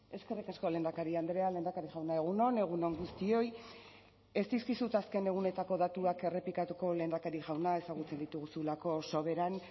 eskerrik asko lehendakari andrea lehendakari jauna egun on egun on guztioi ez dizkizut azken egunetako datuak errepikatuko lehendakari jauna ezagutzen dituzulako soberan